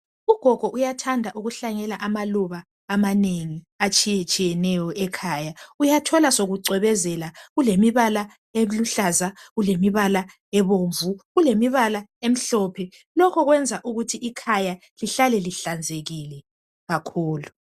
Ugogo uyathanda ukuhlanyela amaluba amanengi atshiye tshiyeneyo ekhaya uyathola sokucwebezela kulemibala eluhlaza kulemibala ebomvu kulemibala emhlophe lokhu kwenza ukuthi ikhaya lihlale lihlanzekile kakhulu.